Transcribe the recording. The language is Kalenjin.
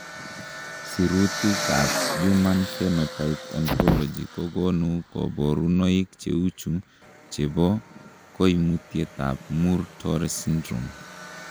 Sirutikab Human Phenotype Ontology kokonu koborunoik cheuchu chebo koimutietab Muir Torre syndrome .